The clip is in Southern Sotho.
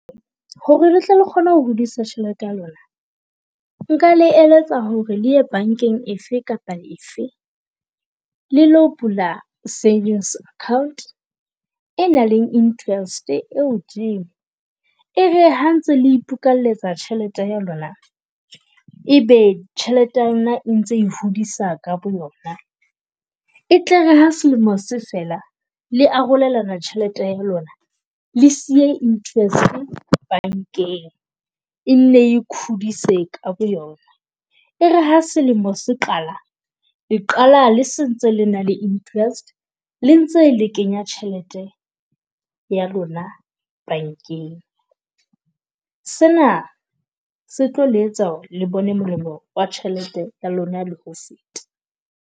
Ho re le tle le kgone ho hodisa tjhelete ya lona, nka le eletsa ho re le ya bankeng efe kapa efe le lo bula savings account e nang le interest e hodimo. E re ha ntse le ipokalletsa tjhelete ya lona, ebe tjhelete ya lona e ntse hodisa ka boyona. E tle re ha selemo se fela le arolelana tjhelete ya lona, le siye interest bankeng e nne e khudise ka boyona. E re ha selemo se qala, le qala le se ntse le na le interest, le ntse le kenya tjhelete ya lona bankeng. Se na se tlo le etsa ho re le bone molemo wa tjhelete ya lona le ho feta.